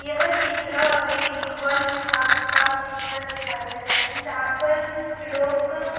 यह चित्र हमें एक बन बिभाग का चित्र दिखाई दे रहा है जहाँ पर लोग।